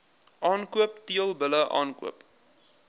aankoop teelbulle aankoop